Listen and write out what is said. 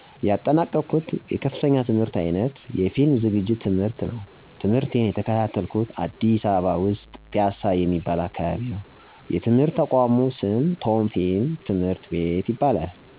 ያጠናቅሁት ከፍተኛ የትምህርት አይነት የፊልም ዝግጅት ትምህርት ነው። ትምህርቴን የተከታተልኩት አዲስ አበባ ውስጥ ፒያሳ የሚባል አካባቢ ነው የትምህርት ተቋሙ ስም ቶም ፊልም ትምህርት ቤት ይባላል።